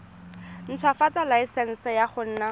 ntshwafatsa laesense ya go nna